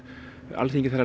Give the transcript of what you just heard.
alþingismenn